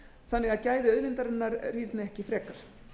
þannig að gæði auðlindarinnar rýrna ekki frekar